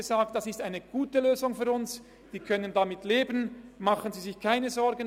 «Das ist eine gute Lösung für uns, wir können damit leben, machen Sie sich keine Sorgen.